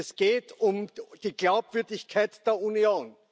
Es geht um die Glaubwürdigkeit der Union.